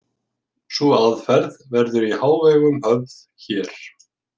Sú aðferð verður í hávegum höfð hér.